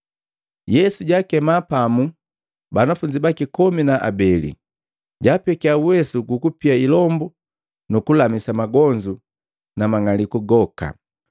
Yesu jaakemaa pamu banafunzi baki komi na abeli, jaapekiya uwesu gukupia ilombu nuku lamisa magonzu na mang'alisu goka.